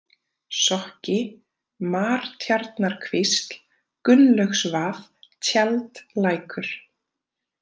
Sokki, Martjarnarkvísl, Gunnlaugsvað, Tjaldlækur